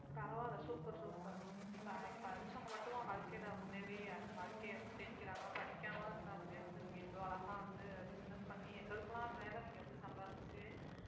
பரவாயில்லை super super ப~ படிச்சவங்க மட்டுமா வாழ்க்கையிலே முன்னேறி வாழ்க்கைய வந்து ஜெயிக்கிறாங்க படிக்காம இருந்தாலுமே வந்து நீங்க இவ்ளோ அழகா வந்து business பண்ணி எங்களுக்கு எல்லாம் மேலே நீங்க வந்து சம்பாரிச்சு